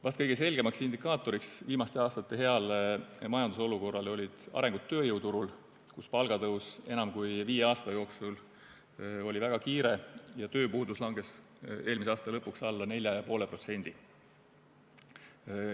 Vist kõige selgem viimaste aastate hea majandusolukorra indikaator oli areng tööjõuturul, kus palgatõus enam kui viie aasta jooksul oli väga kiire ja tööpuudus langes eelmise aasta lõpuks alla 4,5%.